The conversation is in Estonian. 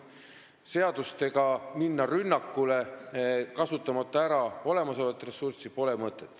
Seadustega rünnakule minna, kasutamata ära olemasolevat ressurssi, pole mõtet.